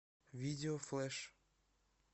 видео флэш